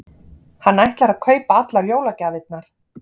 Hann ætlar að kaupa allar jólagjafirnar.